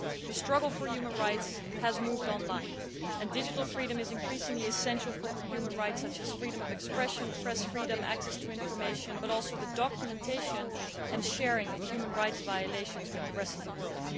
The struggle for human rights has moved online and digital freedom is increasingly essential for human rights, such as freedom of expression, press freedom and access to information, but also the documentation and sharing of human rights violations with the rest of the world.